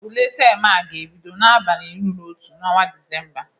Ule tem a ga-ebido n'abalị iri na otu n'ọnwa Disemba